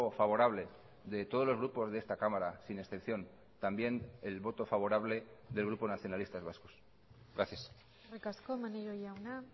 favorable de todos los grupos de esta cámara sin excepción también el voto favorable del grupo nacionalistas vascos gracias eskerrik asko maneiro jauna